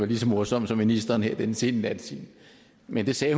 lige så morsom som ministeren her i den sene nattetime men det sagde